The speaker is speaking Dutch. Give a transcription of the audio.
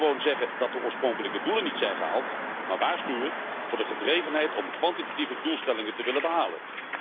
Niet gewoon zeggen dat de oorspronkelijke doelen niet zijn gehaald, maar waarschuwen voor de gedrevenheid om kwantitatieve doelstellingen te willen behalen.